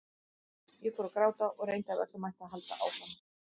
Ég fór að gráta og reyndi af öllum mætti að halda áfram.